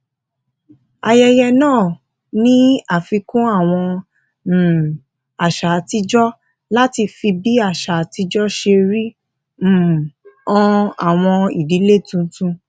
ayẹyẹ náà ní àfikún àwọn um àṣà àtijọ láti fi bí àṣà àtijọ ṣe rí um hàn àwọn ìdílé tuntun